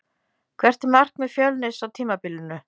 Hvert er markmið Fjölnis á tímabilinu?